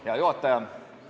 Hea juhataja!